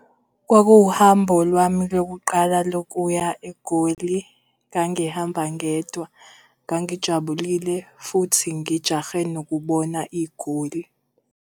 Kwakuwuhambo lwami lokuqala lokuya eGoli. Ngangihamba ngedwa, ngangijabulile futhi ngijahe nokubona iGoli.